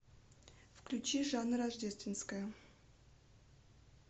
включи жанна рождественская